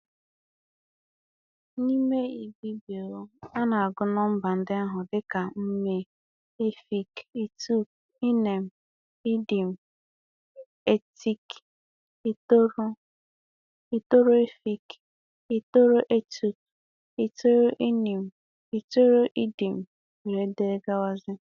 N'ime Ibibio, a na-agụ nọmba ndị ahụ dị ka mme, efịk, itòk, ínìn, ídìm, ítìt, ítòrò, ítòrò-ɛfìk, ítòrò-itòk, ítòrò-ínin, ítòrò-ídìm, etc.